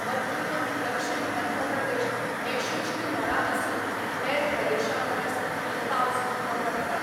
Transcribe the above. मध्य आनी दक्षिण मध्य प्रदेश हे शुष्क मळां आसून हेर प्रदेशांपरस थंय पावस उणो पडटा.